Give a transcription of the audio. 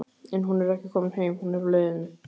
En hún er ekki komin heim, hún er á leiðinni.